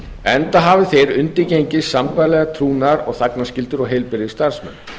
enda hafi þeir undirgengist sambærilegar trúnaðar og þagnarskyldur og heilbrigðisstarfsmenn